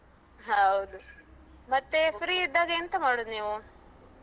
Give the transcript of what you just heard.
ಹೌದು. ಮತ್ತೆ free ಇದ್ದಾಗ ಎಂತ ಮಾಡುದು ನೀವು?